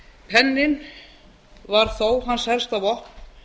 penninn var þó hans helsta vopn